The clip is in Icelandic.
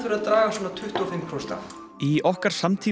að draga svona tuttugu og fimm prósent af í okkar samtíma